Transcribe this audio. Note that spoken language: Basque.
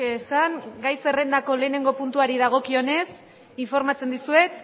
esan gai zerrendako lehenengo puntuari dagokion ez informatzen dizuet